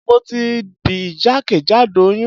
Mo ti bì jakejado oyun